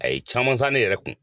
A ye caman san ne yɛrɛ kun.